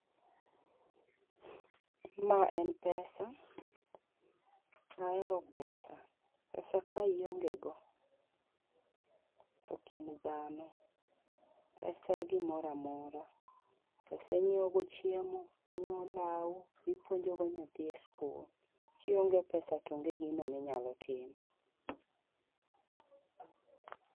Ma en pesa, ahero pesa. pesa ka ionge go tok in dhano. pesa e gimoramora pesa inyiewo go chiemo, inyiewo lawu, ipuonjogo nyathi eskul. kionge pesa to onge giminyalo timo